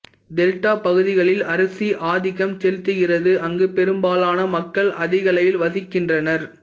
delta பகுதிகளில் அரிசி ஆதிக்கம் செலுத்துகிறது அங்கு பெரும்பாலான மக்கள் அதிக அளவில் வசிக்கின்றனர்